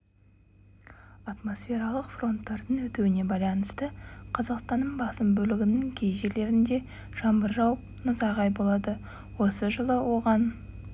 атмосфералық фронттардың өтуіне байланысты қазақстанның басым бөлігінің кей жерлерінде жаңбыр жауып найзағай болады осы жылы оған